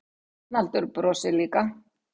Arnaldur brosir líka.